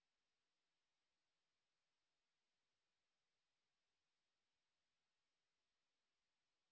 spoken hyphen tutorial dot org slash ন্মেইক্ট hyphen intro আমি অন্তরা এই টিউটোরিয়াল টি অনুবাদ এবং রেকর্ড করেছি